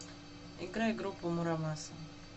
играй группу мура маса